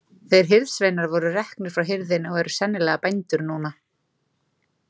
Þeir hirðsveinar voru reknir frá hirðinni og eru sennilega bændur núna.